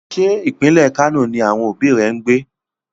Ṣé pínlẹ̀ Kano ni àwọn òbí rẹ ń gbé?